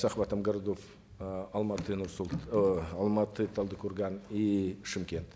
с охватом городов э алматы э алматы талдыкорган и шымкент